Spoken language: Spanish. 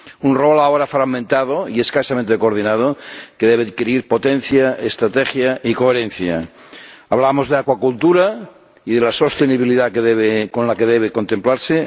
un papel ahora fragmentado y escasamente coordinado que debe adquirir potencia, estrategia y coherencia. Hablamos de la acuicultura y de la sostenibilidad con la que debe contemplarse